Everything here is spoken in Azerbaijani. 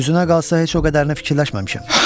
Düzünə qalsa heç o qədərini fikirləşməmişəm.